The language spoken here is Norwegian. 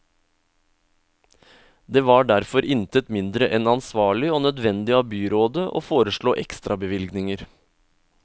Det var derfor intet mindre enn ansvarlig og nødvendig av byrådet å foreslå ekstrabevilgninger.